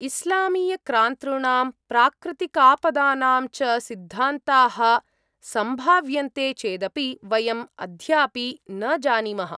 इस्लामीयाक्रान्तॄणां प्राकृतिकापदानां च सिद्धान्ताः सम्भाव्यन्ते चेदपि वयम् अध्यापि न जानीमः।